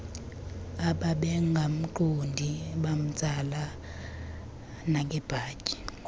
ababengamqondi bamtsala nangebhatyi